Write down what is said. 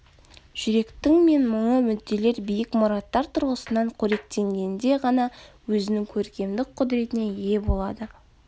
жүректің мен мұңы мүдделер биік мұраттар тұрғысынан қоректенгенде ғана өзінің көркемдік құдіретіне ие болады